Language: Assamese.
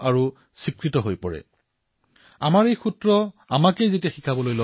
সম্ভৱতঃ ইয়াৰ অন্তৰালত এক ডাঙৰ কাৰণ আছে শ শ বছৰজুৰি আমি দাসত্বৰ বান্ধোনত কটাইছো